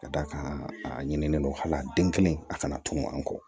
Ka d'a kan a ɲinini kelen a kana tunu an kɔ